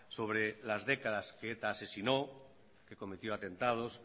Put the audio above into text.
sobre las décadas que eta asesinó que cometió atentados